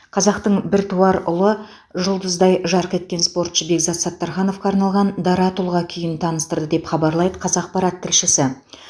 қазақтың біртуар ұлы жұлдыздай жарқ еткен спортшы бекзат саттархановқа арналған дара тұлға күйін таныстырды деп хабарлайды қазақпарат тілшісі